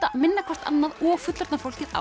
minna hvort annað og fullorðna fólkið á